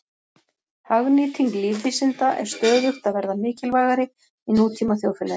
Hagnýting lífvísinda er stöðugt að verða mikilvægari í nútíma þjóðfélagi.